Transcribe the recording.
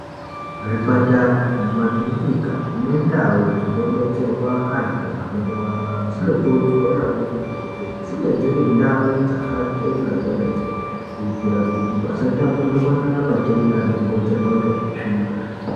Zvipatara, mumakirinika nendau dzinobetserwa anhu anorwara, dzinokurudzirwa maningi kuti dzinge dziri ndau dzakachena kwemene, kuitira kuti pasatapurirwana matenda anokonzerwa ngeutsvina.